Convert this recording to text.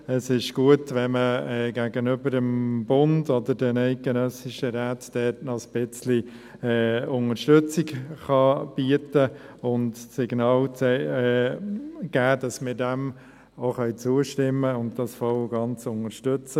Es ist gut, wenn man gegenüber dem Bund oder den eidgenössischen Räten dort noch ein bisschen Unterstützung bieten und das Signal aussenden kann, dass wir dem auch zustimmen können und das voll und ganz unterstützen.